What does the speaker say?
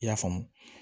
I y'a faamu